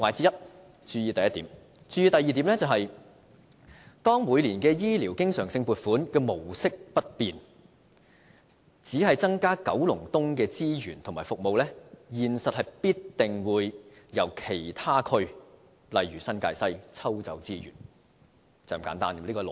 要注意的第二點是當每年醫療經常性撥款模式不變而只增加九龍東的資源及服務，現實中必定會由其他區如新界西抽調資源，這是一種很簡單的邏輯。